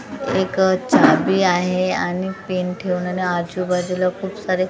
एक चाबी आहे आणि पिन ठेवून आणि आजूबाजूला खूप सारे --